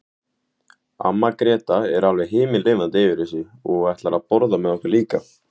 Amma Gréta er alveg himinlifandi yfir þessu og ætlar að borða með okkur líka.